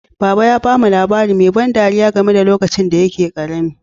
Baba ya ba mu labari mai ban ɗariya game da lokacin da yake karami.